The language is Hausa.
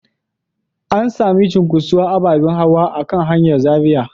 An sami cunkuson ababen hawa a kan hanyar Zaria.